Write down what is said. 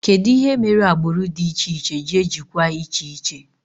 Kedụ ihe mere agbụrụ dị iche iche ji ejikwa iche iche?